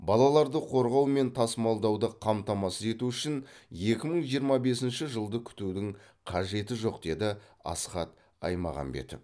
балаларды қорғау мен тасымалдауды қамтамасыз ету үшін екі мың жиырма бесінші жылды күтудің қажеті жоқ деді асхат аймағамбетов